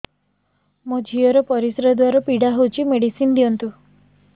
ମୋ ଝିଅ ର ପରିସ୍ରା ଦ୍ଵାର ପୀଡା ହଉଚି ମେଡିସିନ ଦିଅନ୍ତୁ